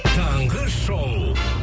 таңғы шоу